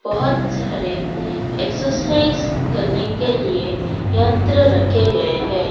बहुत सारे एक्सरसाइज करने के लिए यंत्र रखे गए हैं।